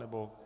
Nebo?